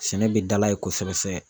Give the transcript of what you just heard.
Sɛnɛ bɛ dala ye kosɛbɛ.